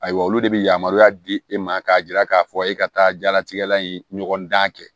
Ayiwa olu de bi yamaruya di e ma k'a yira k'a fɔ e ka taa jalatigɛ la in ɲɔgɔn dan kɛ